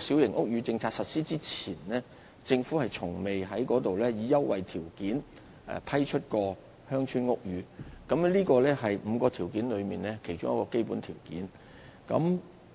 小型屋宇政策實施前，政府從未在該處以優惠條件批出過鄉村屋宇。這是5項條件中的一項基本條件。